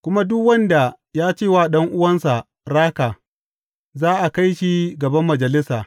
Kuma duk wanda ya ce wa ɗan’uwansa Raka,’ za a kai shi gaban Majalisa.